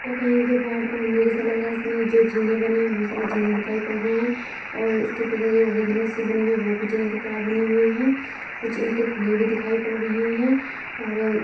यह कहीं के पहाड़ का मंदिर जैसा लग रहा है इसमें जो जीने बने है बहोत सारे जीने दिखाई पढ़ रहे हैं और इसके पीछे जो रेलिंग सी बनी हुई है वह भी जीने की तरह बनी हुई है कुछ ईंटे खुली हुई दिखाई पड़ रही हैं और --